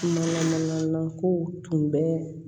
Mana mana kow tun bɛ